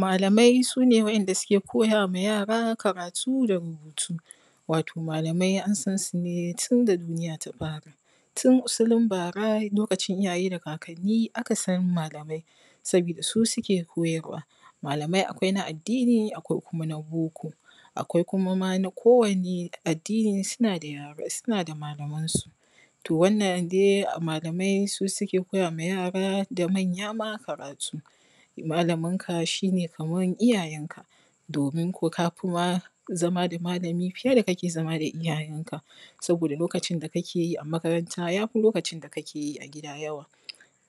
malamai sune wa’inda suke koya ma yara karatu da rubutu wato malamai an san su ne tun da duniya ta fara tun usilin bara lokacin iyaye da kakanni aka san malamai saboda su suke koyarwa. malamai akwai na addini akwai kuma na boko akwai kuma ma na kowane addini suna da malamansu to wannan dai malamai su suke koya ma yara da manya ma karatu malamin ka shine kamar iyayem ka domin kuwa ka fi ma zama da malamin ka a fiye da iyayen ka saboda lokacin da ka ke yi a makaranta ja fi lokacin da ka ke yi a gida yawa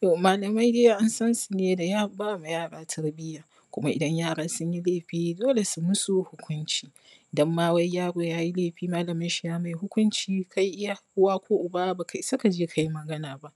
malamai dai an san su ne da ba wa yara tarbiya kuma idan yaran sun yi laifi dole su masu hukunci donma wai yaro yayi laifi malamin shi yamai hukunci kai iya uwa ko uba baka isa kaje kai magana ba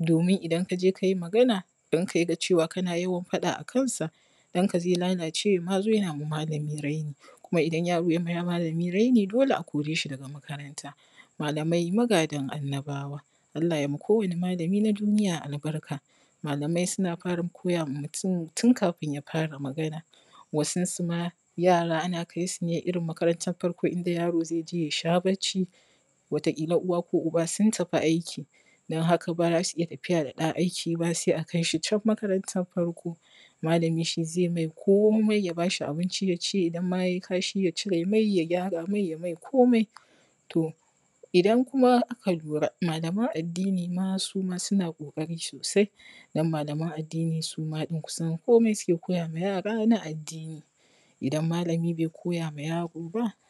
domin idan kaje kai magana ɗanka yaga kana yawan faɗa akansa ɗanka zai lalace ya ma zo yana ma malami raini kuma idan yaro yai ma malami raini dole a kore shi daga makaranta malamai magadan annabawa Allah yai ma kowane malami na duniya albarka malamai suna fara koya ma mutum tun kafin ya fara magana wasun su ma yara ana kai su ne irin makarantan farko inda yaro zai je yasha bacci wata ƙila uwa ko uba sun tafi aiki don haka ba za su iya zuuwa da ɗa aiki don haka sai a kai shi can makarantan farko malami shi zai mai komi ya ba shi abinci ya ci idan ma yayi kashi ya cire ma ya gyara mai yai mai komi to idan kuma aka lura malaman addini ma suma suna ƙoƙari sosai don malaman addini suma ɗin kusan komi suke koya ma yara na addini idan malami bai koya ma yaro ba